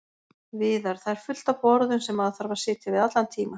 Viðar: Það er fullt af borðum sem maður þarf að sitja við allan tímann.